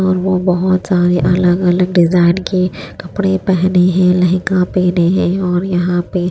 और वो बहोत सारे अलग अलग डिजाइन के कपड़े पहने हैं लहंगा पहने और यहां पे--